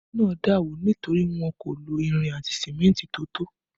Ilé náà dà wó nítorí wọn kò lo irin àti símẹ́ntì tó tó